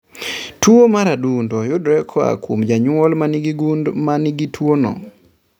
Tuo mar adundo yudore koa kuom jonyuol manigi gund manigi tuo no